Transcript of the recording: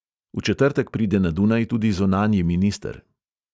V četrtek pride na dunaj tudi zunanji minister.